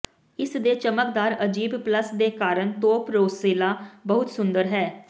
ਇਸ ਦੇ ਚਮਕਦਾਰ ਅਜੀਬ ਪਲੱਮ ਦੇ ਕਾਰਨ ਤੋਪ ਰੋਸੇਲਾ ਬਹੁਤ ਸੁੰਦਰ ਹੈ